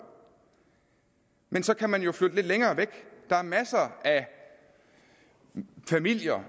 men så kan man jo flytte lidt længere væk der er masser af familier